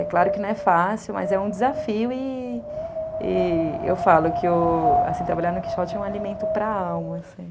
É claro que não é fácil, mas é um desafio e eu falo que, assim, trabalhar no Quixote é um alimento para a alma, assim.